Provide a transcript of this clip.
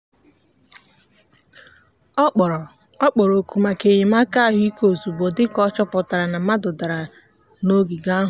ọ kpọrọ ọ kpọrọ oku maka enyemaka ahụike ozugbo dị ka ọ chọpụtara na mmadụ dara n'ogige ahụ.